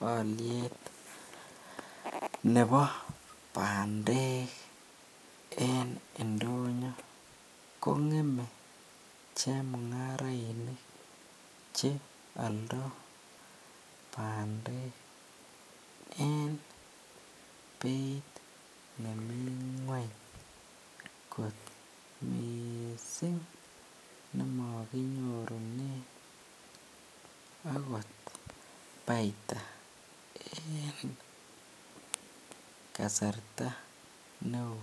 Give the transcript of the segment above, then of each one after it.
Aliet Nebo bandek en indonyo kongem chemungarainik Che yaldo bandek en Beit nemii ngweny kot mising nemakinyorunen okot baita kasarta neon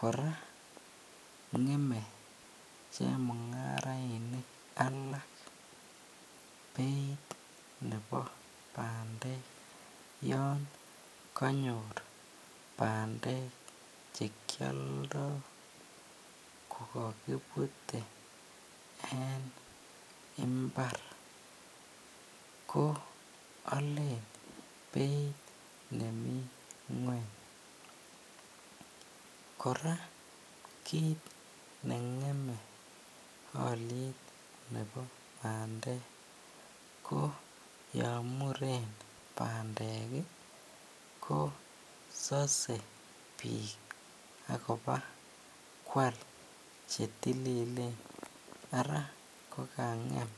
koraa ngeme chemungarainik alak Beit Nebo bandek yanganyor bandek chekyoldoe kokakibute en imbar ko Alen Bei nemi ngweny koraa kit nengeme aliet Nebo bandek ko yamuren bandek kosase bik akoba kwal chetililen Ara kokangem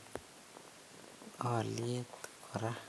aliet koraa